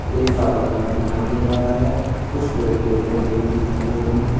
एक टावर लगा दिखाई दे रहा है कुछ पेड़ पौधे लगे हुए दिखाई दे रहे हैं।